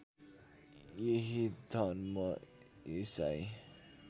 यही धर्म ईसाई